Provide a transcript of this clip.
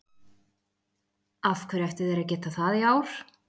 Af hverju ættu þeir að geta það í ár?